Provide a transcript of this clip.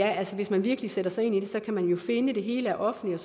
at hvis man virkelig sætter sig ind i det så kan man jo finde at det hele er offentligt